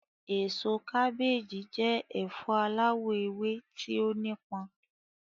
Èso kábééjì jẹ́ ẹ̀fọ aláwọ̀ ewé tí ó nípọn.